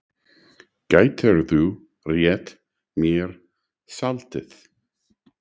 Gætirðu rétt mér saltið?